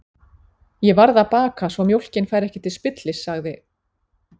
Ég varð að baka svo mjólkin færi ekki til spillis, sagði